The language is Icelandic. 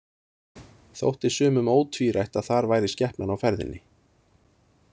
Þótti sumum ótvírætt að þar væri skepnan á ferðinni.